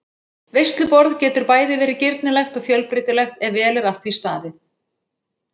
Veisluborð getur bæði verið girnilegt og fjölbreytilegt ef vel er að því staðið.